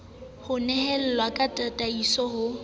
ho nehelawe ka tataiso ho